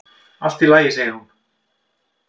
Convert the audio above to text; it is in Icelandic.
"""Allt í lagi, segir hún."""